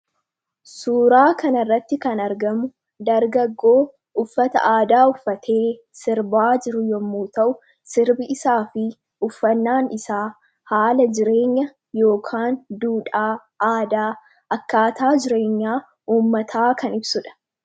Suuraa kanarratti kan argamu dargaggoo uffata aadaa uffatee sirbaa jiru yommuu ta'u, sirbi isaa fi uffannaan isaa haala jireenya yookaan duudhaa, aadaa akkaataa jireenyaa uummataa kan ibsudha.